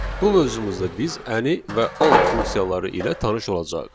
Bu mövzumuzda biz Any və All funksiyaları ilə tanış olacağıq.